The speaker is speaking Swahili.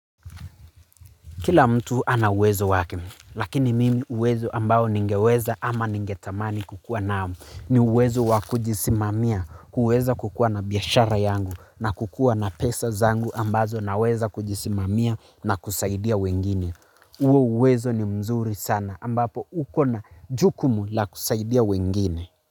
Kila mtu ana uwezo wake, lakini mimi uwezo ambao ningeweza ama ningetamani kukua nao, ni uwezo wa kujisimamia, uweza kukua na biyashara yangu na kukua na pesa zangu ambazo naweza kujisimamia na kusaidia wengine. Uwo uwezo ni mzuri sana ambapo uko na jukumu la kusaidia wengine.